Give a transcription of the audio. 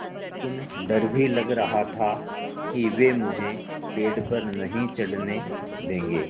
लेकिन डर भी लग रहा था कि वे मुझे पेड़ पर नहीं चढ़ने देंगे